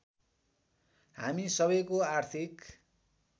हामी सबैको आर्थिक